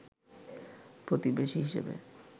প্রতিবেশী হিসেবে